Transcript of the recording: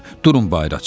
Durun bayıra çıxaq.